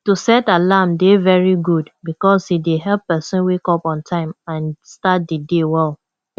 to set alarm dey very good because e dey help pesin wake up on time and start di day well